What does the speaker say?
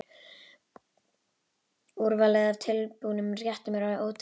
Úrvalið af tilbúnum réttum er orðið ótrúlegt.